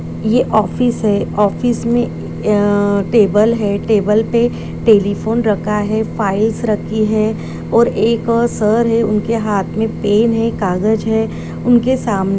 ये-ये ऑफिस है ऑफिस मे ए-अ-अ टेबल है टेबल पे टेलिफोन रखा हैफाइलस रखी है और एक-अ सर है उनके हाथ मे पेन है कागज है। उनके साम--